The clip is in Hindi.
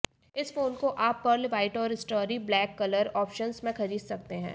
इस फोन को आप पर्ल वाइट और स्टारी ब्लैक कलर ऑफ्शंस में खरीद सकते हैं